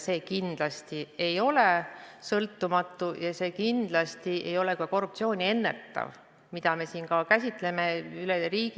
See kindlasti ei ole sõltumatu ja see kindlasti ei enneta korruptsiooni, mida me siin üleriigiliselt taotleme.